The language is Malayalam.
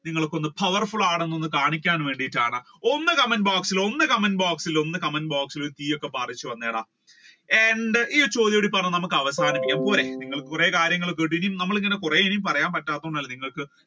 നിങ്ങൾ ഒന്ന് powerful ആണെന്ന് കാണിക്കാൻ വേണ്ടീട്ടാണ് ഒന്ന് comment box ഇൽ ഒന്ന് comment box ഇൽ ഒന്ന് comment box ഇൽ തീ ഒക്കെ പാറിച്ചു വന്നെടാ ഈ ചോദ്യവും കൂടി പറഞ്ഞു നമ്മൾക്ക് അവസാനിപ്പിക്കാം പോരെ നിങ്ങൾ കുറെ കാര്യങ്ങൾ കേട്ടൂ ഇനി കുറെ പറയാൻ പറ്റാത്ത കൊണ്ടല്ലേ